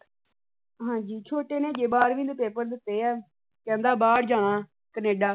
ਹਾਂ ਜੀ ਛੋਟੇ ਨੇ ਅਜੇ ਬਾਰਵੀਂ ਦੇ ਪੇਪਰ ਦੀਤੇ ਆ। ਕਹਿੰਦਾ ਬਾਹਰ ਜਾਣਾ ਕਨੇਡਾ।